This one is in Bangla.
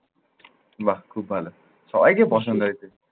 বাহ, খুব ভালো। সবাইকে পছন্দ হয়েছে।